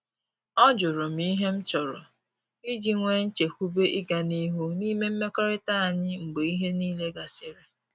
Ọ jụrụ m ihe m chọrọ iji nwee nchekwube ịga n’ihu n’ime mmekọrịta anyị mgbe ihe niile gasịrị